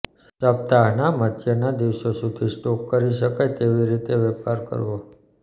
સપ્તાહના મધ્યના દિવસો સુધી સ્ટોક કરી શકાય તેવી રીતે વેપાર કરવો